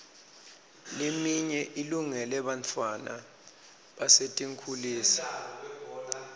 leminye ilungele bantfwana basetinkhulisa